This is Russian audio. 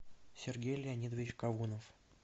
сергей леонидович кавунов